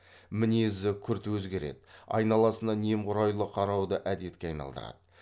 мінезі күрт өзгереді айналасына немқұрайлы қарауды әдетке айналдырады